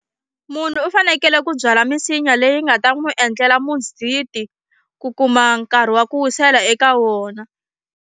Munhu u fanekele ku byala misinya leyi nga ta n'wi endlela muziti ku kuma nkarhi wa ku wisela eka wona.